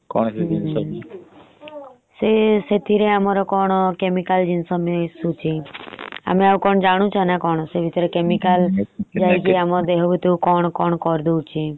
ସେ ସେଥିରେ ଆମର କଣ chemical ଜିନିଷ ମିଷୁଛି ଆମେ ଆଉ କଣ ଜାଣୁଚ୍ଛେ ନ କଣ। ସେ ଭିତରେ chemical ଯାଇକି ଆମ ଦେହ ଭିତରେ କଣ କରୁଛି।